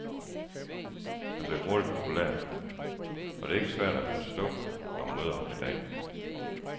Han blev hurtigt populær, og det er ikke svært at forstå, når man møder ham i dag.